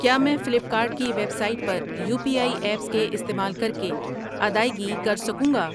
کیا میں Flipkart کی ویب سائٹ پر یو پی آئی ایپس کے استعمال کر کے ادائیگی کر سکوں گا؟